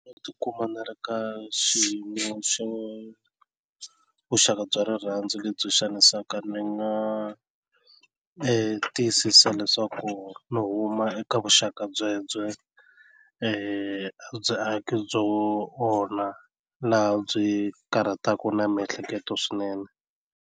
U ti kuma ni ri ka xiyimo xo vuxaka bya rirhandzu lebyi xanisaka ni nga tiyisisa leswaku ni huma eka vuxaka byebyo a bya aki byo onha laha byi karhataku na miehleketo swinene.